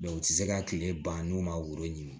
u tɛ se ka kile ban n'u ma woro ɲini